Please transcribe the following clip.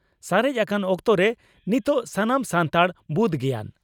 ᱥᱟᱨᱮᱡ ᱟᱠᱟᱱ ᱚᱠᱛᱚᱨᱮ ᱱᱤᱛᱚᱜ ᱥᱟᱱᱟᱢ ᱥᱟᱱᱛᱟᱲ ᱵᱩᱫᱽ ᱜᱮᱭᱟᱱ